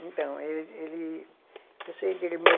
Então, ele, ele, eu sei dele meu